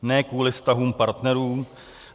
Ne kvůli vztahům partnerů.